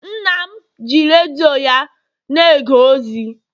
nna m ji redio ya na-ege ozi